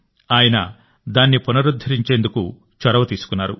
ఆయన దాన్ని పునరుద్ధరించేందుకు చొరవ తీసుకున్నారు